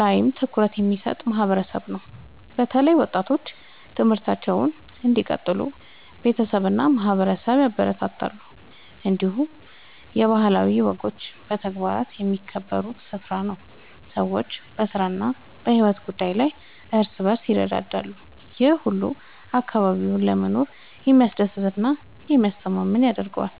ላይም ትኩረት የሚሰጥ ማህበረሰብ ነው። በተለይ ወጣቶች ትምህርታቸውን እንዲቀጥሉ ቤተሰብ እና ማህበረሰብ ያበረታታሉ። እንዲሁም የባህላዊ ወጎች በተግባር የሚከበሩበት ስፍራ ነው። ሰዎች በስራ እና በሕይወት ጉዳይ ላይ እርስ በርስ ይረዳዳሉ። ይህ ሁሉ አካባቢውን ለመኖር የሚያስደስት እና የሚያስተማማኝ ያደርገዋል።